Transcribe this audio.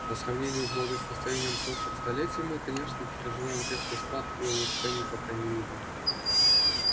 по сравнению с благосостоянием прошлых столетий мы конечно переживаем резкий спад и улучшений пока не видно